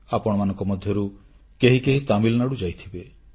ଆପଣମାନଙ୍କ ମଧ୍ୟରୁ କେହି କେହି ତାମିଲନାଡୁ ଯାଇଥିବେ